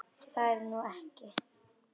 Það er nú ekki.